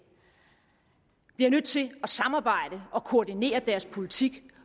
bliver nødt til at samarbejde og koordinere deres politik